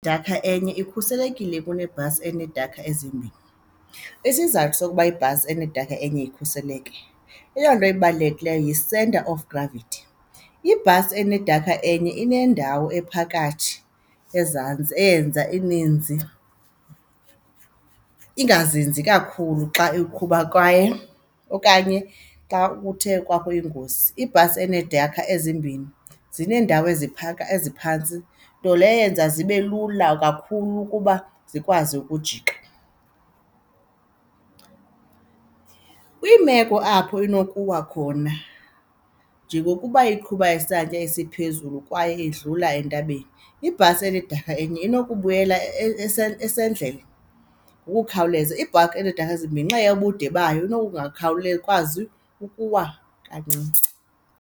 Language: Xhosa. Idakha enye ikhuselekile kunebhasi eneedekha ezimbini. Isizathu sokuba ibhasi enedekha enye ikhuseleke, eyona nto ibalulekileyo yi-centre of gravity. Ibhasi enedekha enye inendawo ephakathi ezantsi eyenza ininzi, ingazinzi kakhulu xa uqhuba kwaye okanye xa kuthe kwakho ingozi. Ibhasi eneedekha ezimbini zineendawo eziphantsi nto leyo eyenza zibe lula kakhulu ukuba zikwazi ukujika. Kwiimeko apho inokuwa khona njengokuba iqhuba isantya esiphezulu kwaye idlula entabeni, ibhasi enedekha enye inokubuyela esendlela ngokukhawuleza. Ibhakhi eneedekha ezimbini ngenxa yobude bayo kwazi ukuwa kancinci.